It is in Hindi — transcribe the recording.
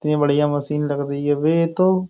इतनी बढ़िया मशीन लग रही है बे ये तो।